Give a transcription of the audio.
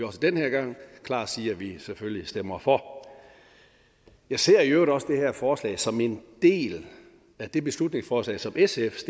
også den her gang klart sige at vi selvfølgelig stemmer for jeg ser i øvrigt også det her forslag som en del af det beslutningsforslag som sf